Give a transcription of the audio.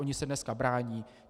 Oni se dneska brání.